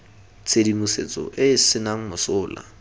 tshedimosetso e e senang mosola